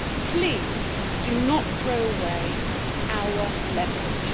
Please do not throw away our leverage.